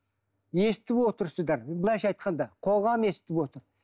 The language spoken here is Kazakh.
естіп отырсыздар былайша айтқанда қоғам естіп отыр